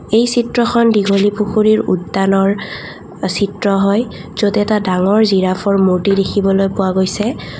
এই চিত্ৰখন দীঘলী পুখুৰীৰ উদ্যানৰ চিত্ৰ হয় য'ত এটা ডাঙৰ জিৰাফৰ মূৰ্ত্তি দেখিবলৈ পোৱা গৈছে।